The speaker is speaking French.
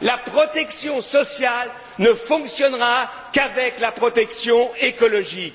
La protection sociale ne fonctionnera qu'avec la protection écologique.